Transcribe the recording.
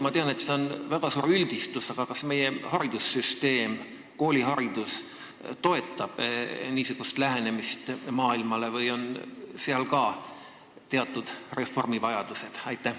Ma tean, et see on väga suur üldistus, aga kas meie haridussüsteem ja kooliharidus toetavad niisugust lähenemist maailmale või on ka seal teatud reformi vajadus?